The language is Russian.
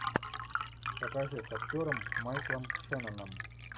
покажи с актером майклом шенноном